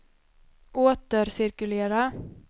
återcirkulera